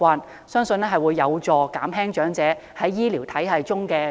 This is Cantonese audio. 我相信這會有助減輕長者對醫療服務的壓力。